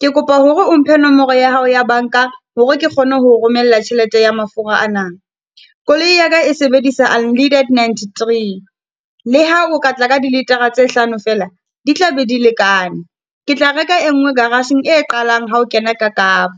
Ke kopa hore o mphe nomoro ya hao ya banka hore ke kgone ho romela tjhelete ya mafura ana. Koloi ya ka e sebedisa unleaded ninety three, le ha o ka tla ka dilitara tse hlano fela, di tla be di lekane. Ke tla reka e nngwe garagegng e qalang ha o kena ka Kapa.